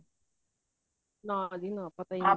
ਨਾ ਜੀ ਨਾ ਪਤਾ ਨਹੀਂ